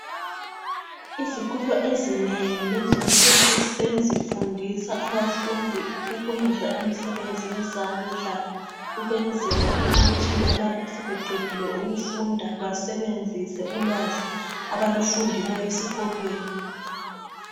Izikolo ezinengi lezinsuku sezifundisa abafundi ukwenza imisebenzi yezandla, ukwenzela ukuthi lalapho sebeqedile ukufunda basebenzise ulwazi abalufundileyo esikolweni.